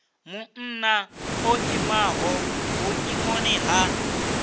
munna o imaho vhuimoni ha